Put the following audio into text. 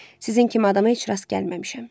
Sizin kimi adama heç rast gəlməmişəm.